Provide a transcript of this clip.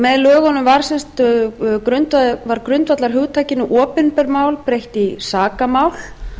með lögunum var s grundvallarhugtakinu opinber mál breytt í sakamál